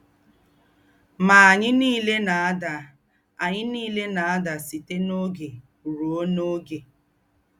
Mà ànyí nílé nà-àdà ànyí nílé nà-àdà sítè n’ógé ruò n’ógé.